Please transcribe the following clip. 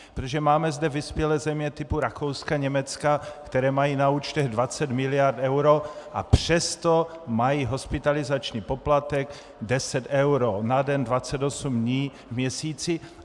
Protože máme zde vyspělé země typu Rakouska, Německa, které mají na účtech 20 mld. eur, a přesto mají hospitalizační poplatek 10 eur na den 28 dní v měsíci.